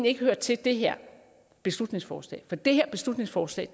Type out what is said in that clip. ikke hører til det her beslutningsforslag for det her beslutningsforslag